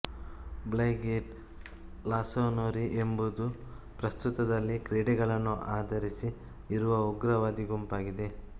ಬ್ರೈಗೇಟ್ ರಾಸೋನೊರಿ ಎಂಬುದು ಪ್ರಸ್ತುದಲ್ಲಿ ಕ್ರೀಡೆಗಳನ್ನು ಆಧರಿಸಿ ಇರುವ ಉಗ್ರವಾದಿ ಗುಂಪಾಗಿದೆ